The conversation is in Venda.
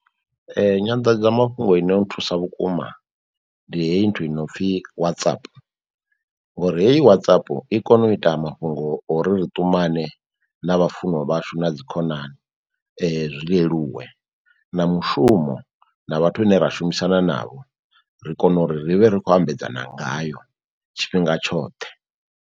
Nyanḓadzamafhungo ino nthusa vhukuma ndi heyi nthu inopfi whatsap, ngori heyi WhatsApp i kone u ita mafhungo ori ri ṱumane na vhafunwa vhashu na dzikhonani zwi leluwe na mushumo na vhathu vhane ra shumisana navho, ri kone uri ri vhe ri khou ambedzana ngayo tshifhinga tshoṱhe.